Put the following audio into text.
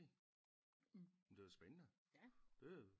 Det lyder spændende det